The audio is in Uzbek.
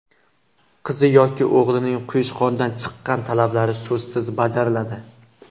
Qizi yoki o‘g‘lining quyushqondan chiqqan talablari so‘zsiz bajariladi.